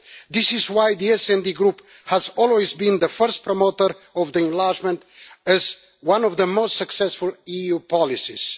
This is why the SD Group has always been the first promoter of enlargement as one of the most successful EU policies.